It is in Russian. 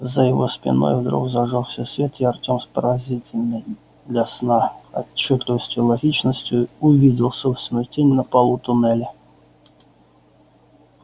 за его спиной вдруг зажёгся свет и артём с поразительной для сна отчётливостью и логичностью увидел собственную тень на полу туннеля